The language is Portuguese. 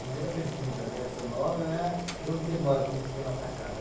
Primeira pergunta, né, o seu nome, né, e onde você mora, para mim te levar para casa.